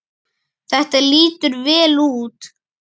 Þetta lítur vel út.